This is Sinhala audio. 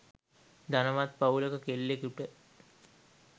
ධනවත් පවුලක කෙල්ලෙකුට